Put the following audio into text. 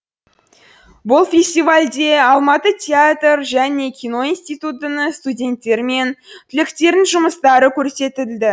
бұл фестивальде алматы театр және кино институтының студенттері мен түлектерінің жұмыстары көрсетіді